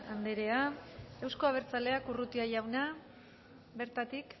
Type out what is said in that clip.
anderea euzko abertzaleak urrutia jauna bertatik